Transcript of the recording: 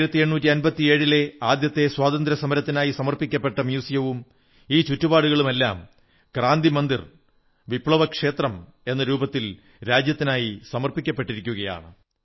1857 ലെ ആദ്യത്തെ സ്വാതന്ത്ര്യസമരത്തിനായി സമർപ്പിക്കപ്പെട്ട മ്യൂസിയവും ഈ ചുറ്റുപാടുകളുമെല്ലാം ക്രാന്തി മന്ദിർ വിപ്ലവക്ഷേത്രം എന്ന രൂപത്തിൽ രാജ്യത്തിനായി സമർപ്പിക്കപ്പെട്ടിരിക്കയാണ്